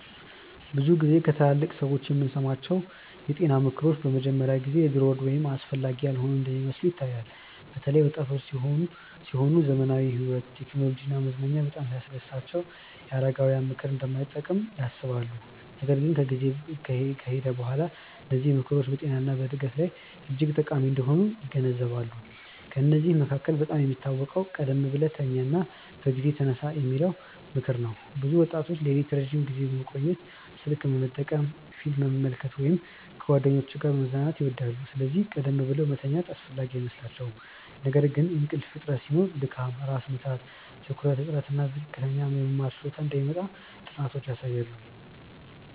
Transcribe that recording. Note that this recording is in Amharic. ብዙ ጊዜ ከትላልቅ ሰዎች የምንሰማቸው የጤና ምክሮች በመጀመሪያ ጊዜ የድሮ ወይም አስፈላጊ ያልሆኑ እንደሚመስሉ ይታያል። በተለይ ወጣቶች ሲሆኑ ዘመናዊ ሕይወት፣ ቴክኖሎጂ እና መዝናኛ በጣም ሲያስደስታቸው የአረጋውያን ምክር እንደማይጠቅም ያስባሉ። ነገር ግን ጊዜ ከሄደ በኋላ እነዚህ ምክሮች በጤና እና በዕድገት ላይ እጅግ ጠቃሚ እንደሆኑ ይገነዘባሉ። ከእነዚህ መካከል በጣም የሚታወቀው “ቀደም ብለህ ተኛ እና በጊዜ ተነሳ” የሚለው ምክር ነው። ብዙ ወጣቶች ሌሊት ረዥም ጊዜ መቆየት፣ ስልክ መጠቀም፣ ፊልም መመልከት ወይም ከጓደኞች ጋር መዝናናት ይወዳሉ፤ ስለዚህ ቀደም ብለው መተኛት አስፈላጊ አይመስላቸውም። ነገር ግን እንቅልፍ እጥረት ሲኖር ድካም፣ ራስ ምታት፣ ትኩረት እጥረት እና ዝቅተኛ የመማር ችሎታ እንደሚመጣ ጥናቶች ያሳያሉ